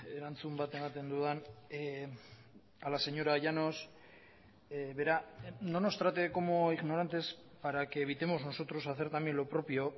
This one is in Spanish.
erantzun bat ematen dudan a la señora llanos verá no nos trate como ignorantes para que evitemos nosotros hacer también lo propio